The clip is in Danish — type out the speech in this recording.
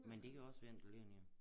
Men det kan også være en der ligger ned